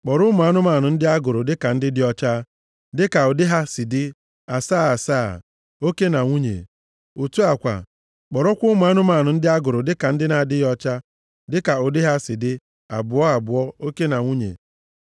Kpọrọ ụmụ anụmanụ ndị a a gụrụ dịka ndị dị ọcha, dịka ụdị ha si dị asaa asaa, oke na nwunye. Otu a kwa, kpọrọkwa ụmụ anụmanụ ndị a gụrụ dịka ndị na-adịghị ọcha, dịka ụdị ha si dị, abụọ abụọ, oke na nwunye,